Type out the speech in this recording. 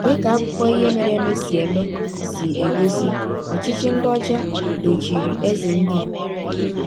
Dị ka akụkọ ihe mere eme si eme si egosi, ọchịchị ndị ọcha dochiri eze ndị Igbo.